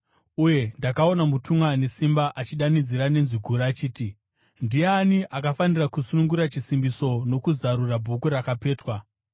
Uye ndakaona mutumwa ane simba achidanidzira nenzwi guru achiti, “Ndiani akafanira kusunungura chisimbiso nokuzarura bhuku rakapetwa?”